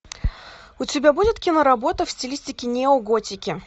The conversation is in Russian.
у тебя будет киноработа в стилистике неоготики